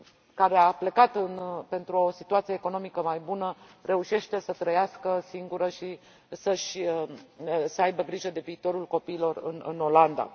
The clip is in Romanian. care a plecat pentru o situație economică mai bună, reușește să trăiască singură și să aibă grijă de viitorul copiilor în Olanda.